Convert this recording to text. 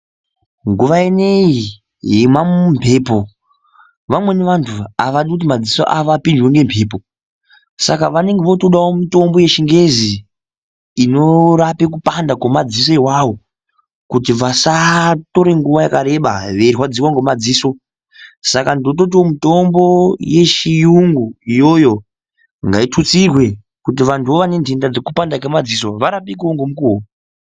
Nguwa ineyi yemamumbepo vamweni vantu havadi kuti madziso avo apindwe ngembepo. Saka vanenge votodawo mitombo yechingeza inorape kupanda kwemadziso iwawo kuti vasatore nguva yakareba veirwadziwa ngomadziso. Saka ndototiwo mitombo yechiyungu iyoyo ngaitutsirwe kuti vantuwo vane ndenda yekupanda kwemadziso varapike ngemukuwo.